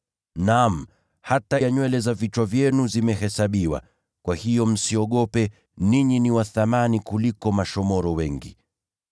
Naam, hata nywele za vichwa vyenu zote zimehesabiwa. Hivyo msiogope, kwa maana ninyi ni wa thamani kubwa kuliko shomoro wengi.